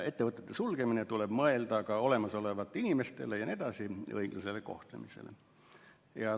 Ettevõtete sulgemise korral tuleb mõelda ka inimeste õiglasele kohtlemisele jne.